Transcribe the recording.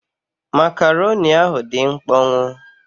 Makaroni ahụ dị mkpọnwụ.